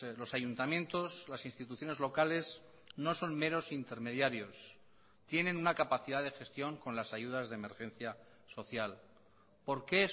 los ayuntamientos las instituciones locales no son meros intermediarios tienen una capacidad de gestión con las ayudas de emergencia social por qué